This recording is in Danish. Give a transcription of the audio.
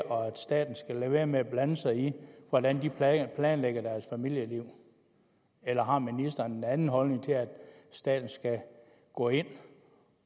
og at staten skal lade være med at blande sig i hvordan de planlægger deres familieliv eller har ministeren en anden holdning til at staten skal gå ind